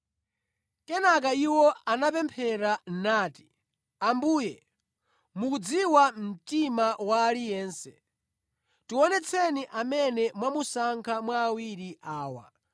Kenaka iwo anapemphera nati, “Ambuye mukudziwa mtima wa aliyense. Tionetseni amene mwamusankha mwa awiri awa